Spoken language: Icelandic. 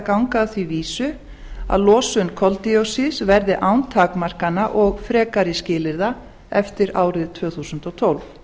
ganga að því vísu að losun koldíoxíðs verði án takmarkana og frekari skilyrða eftir árið tvö þúsund og tólf